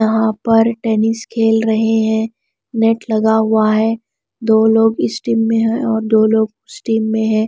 यहां पर टेनिस खेल रहे है नेट लगा हुआ है दो लोग इस टीम में है और दो लोग उस टीम में है।